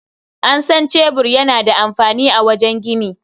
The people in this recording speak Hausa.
An san cebur yana da amfani a wajen gini.